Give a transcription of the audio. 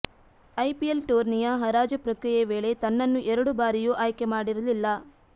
IPL ಟೂರ್ನಿಯ ಹರಾಜು ಪ್ರಕ್ರಿಯೆ ವೇಳೆ ತನ್ನನ್ನು ಎರಡು ಬಾರಿಯೂ ಆಯ್ಕೆ ಮಾಡಿರಲಿಲ್ಲ